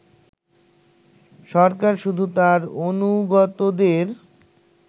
সরকার শুধু তার অনুগতদের